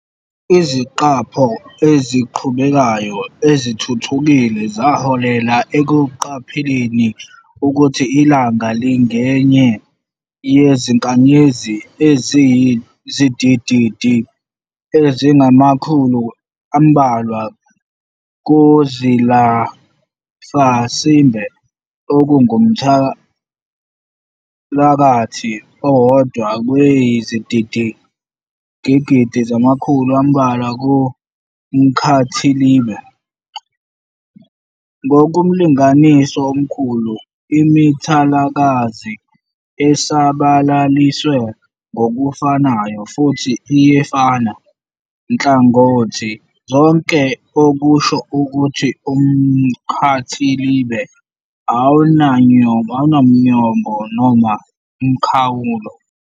Iziqapho eziqhubekayo ezithuthukile zaholela ekuqapheleni ukuthi ilanga lingenye yezinkanyezi eziyizigidigidi ezingamakhulu ambalwa kumzilafasimbe, okungumthalakazi owodwa kweyizigidigidi zamakhulu ambalwa kumkhathilibe. Ngokomlinganiso omkhulu, imithalakazi esabalaliswe ngokufanayo futhi iyefana nhkangothi zonke, okusho ukuthi umkhathilibe awunamnyombo noma umkhawulo.